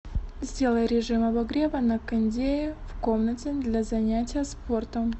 сделай режим обогрева на кондее в комнате для занятия спортом